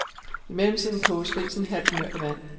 I mellemtiden koges risen halvt mør i vand.